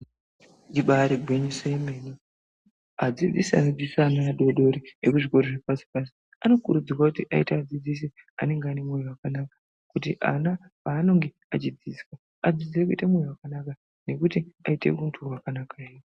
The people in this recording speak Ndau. Ibari gwinyiso yemene, adzidzisi anodzidzisa ana adori dori ekuzvikora zvepashi pashi anokurudzirwa kuti aite adzidzisi anenge ane moyo wakanaka kuti ana paaninge achidzidziswa adzidzire kuite moyo wakanaka nekuti aite huntu hwakanaka.